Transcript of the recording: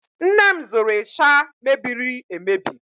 Nne m zụrụ ịsha mebirir emebi